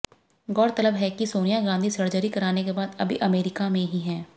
गौरतलब है कि सोनिया गांधी सर्जरी कराने के बाद अभी अमेरिका में ही हैं